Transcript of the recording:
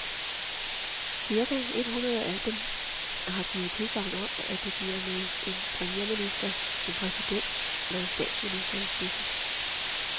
Cirka et hundrede af dem har givet tilsagn om, at det bliver med en premierminister, en præsident eller en statsminister i spidsen.